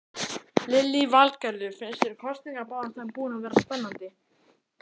Lillý Valgerður: Finnst þér kosningabaráttan búin að vera spennandi?